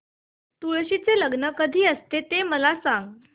तुळशी चे लग्न कधी असते ते मला सांग